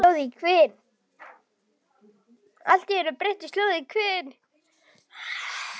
Allt í einu breytist hljóðið í hvin.